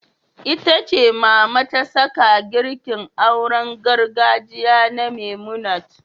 Ita ce Mama ta saka girkin auren gargajiya na Memunant.